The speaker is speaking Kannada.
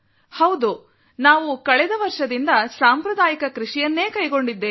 ಹೌದು ನಾವು ಕಳೆದ ವರ್ಷದಿಂದ ಸಾಂಪ್ರದಾಯಿಕ ಕೃಷಿಯನ್ನೇ ಕೈಗೊಂಡಿದ್ದೇವೆ